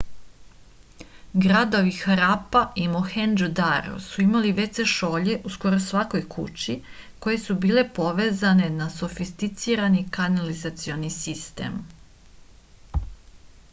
gradovi harapa i mohendžo-daro su imali wc šolje u skoro svakoj kući koje su bile povezane na sofisticirani kanalizacioni sistem